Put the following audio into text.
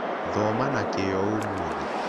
Thoma na Kĩyo Ũmũthĩ